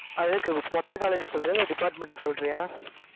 ஆஹ் இருக்கு மொத்த college க்கு சொல்றியா? இல்லை department க்கு சொல்றியா?